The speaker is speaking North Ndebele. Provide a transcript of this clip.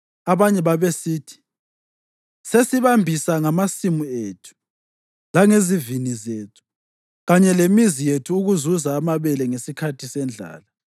Abanye babesithi, “Sesibambisa ngamasimu ethu, langezivini zethu kanye lemizi yethu ukuzuza amabele ngesikhathi sendlala.”